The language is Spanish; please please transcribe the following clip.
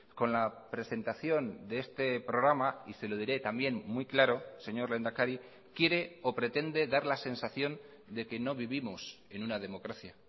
con la presentación de este programa y se lo diré también muy claro señor lehendakari quiere o pretende dar la sensación de que no vivimos en una democracia